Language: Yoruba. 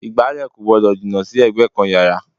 Ìgbálẹ̀ kò gbọ́dọ̀ jìnnà sí ẹ̀gbẹ́ kan yàrá